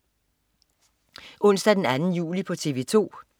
Onsdag den 2. juli - TV 2: